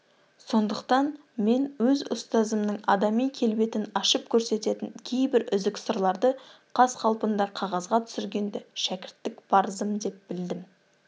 сондықтан мен өз ұстазымның адами келбетін ашып көрсететін кейбір үзік сырларды қаз-қалпында қағазға түсіргенді шәкірттік парызым деп білдім